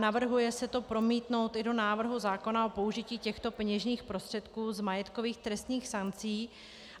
Navrhuje se to promítnout i do návrhu zákona o použití těchto peněžních prostředků z majetkových trestních sankcí.